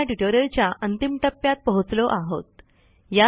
आपण ह्या ट्युटोरियलच्या अंतिम टप्प्यात पोहोचलो आहोत